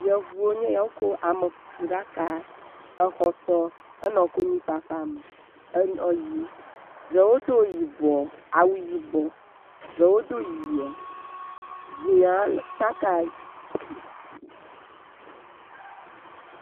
yevuwo nye ya wó kó amekuku ɖaka exɔ tɔ henɔ konyifafa me henɔ yim ɖewo dó yibɔ awu yibɔ ɖewo do yia dziã tsaká